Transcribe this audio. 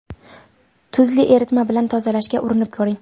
Tuzli eritma bilan tozalashga urinib ko‘ring.